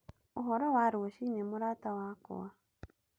Ũhoro wa rũciinĩ mũrata wakwa?